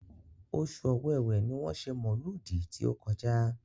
Oṣù Ọ̀wẹ̀wẹ̀ ni wọ́n ṣe mọ̀lúùdì tí ó kọjá.